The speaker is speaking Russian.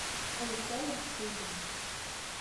александр шубин